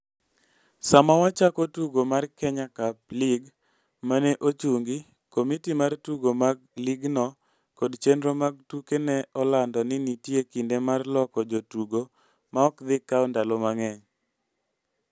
Sama wachako tugo mar Kenya Cup League ma ne ochungi, komiti mar tugo mar ligno kod chenro mag tuke ne olando ni nitie kinde mar loko jotugo ma ok dhi kawo ndalo mang'eny.